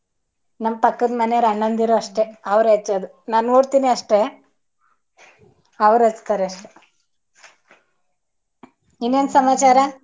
ನಮ್ಮ ಪಕ್ಕದ ಮನೇವರ ಅಣ್ಣಂದಿರ ಅಷ್ಟೇ ಅವ್ರೆ ಹಚ್ಚೋದ್ ನಾನ್ ನೋಡ್ತೀನಿ ಅಷ್ಟೇ ಅವ್ರ ಹಚ್ಚತಾರೆ ಅಷ್ಟೆ ಇನ್ನೆನ್ ಸಮಾಚಾರ?